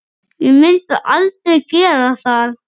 Ég myndi aldrei gera það.